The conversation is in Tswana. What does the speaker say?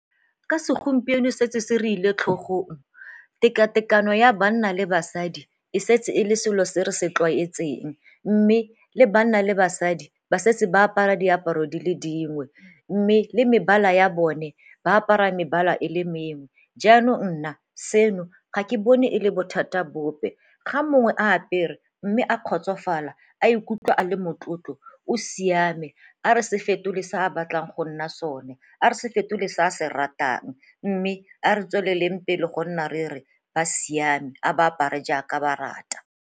Ka segompieno setse se re ile tlhogong teka-tekano ya banna le basadi e setse e le selo se re se tlwaetseng mme le banna le basadi ba setse ba apara diaparo di le dingwe mme le mebala ya bone ba apara mebala e le mengwe. Jaanong nna seno ga ke bone e le bothata bope, ga mongwe a apere mme a kgotsofala a ikutlwa a le motlotlo o siame a ra se fetole se a batlang go nna sone, a re se fetole se a se ratang mme a re tswelele pele go nna re re ba siame a ba apare jaaka ba rata.